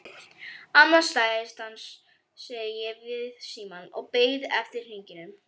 Annað slagið stansaði ég við símann og beið eftir hringingu.